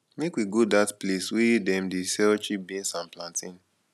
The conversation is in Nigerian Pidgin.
make we go dat place wey dem dey sell cheap beans and plantain